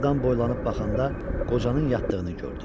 Qapıdan boylanıb baxanda qocanın yatdığını gördü.